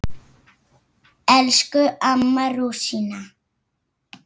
Elsku amma rúsína.